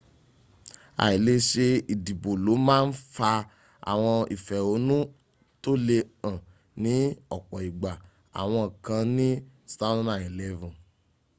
àì lè ṣe ìdìbò ló má ń fa àwọn ìfẹ̀hónú tó le hàn ní ọ̀pọ̀ ìgbà àwọn kan ní 2011